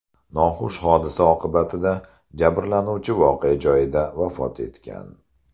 Noxush hodisa oqibatida jabrlanuvchi voqea joyida vafot etgan.